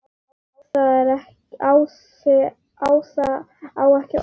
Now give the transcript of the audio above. Ása á ekki orð.